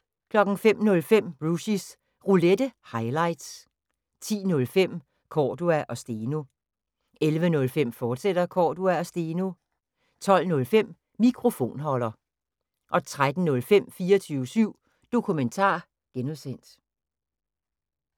05:05: Rushys Roulette – highlights 10:05: Cordua & Steno 11:05: Cordua & Steno, fortsat 12:05: Mikrofonholder 13:05: 24syv Dokumentar (G)